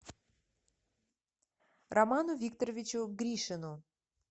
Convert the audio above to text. роману викторовичу гришину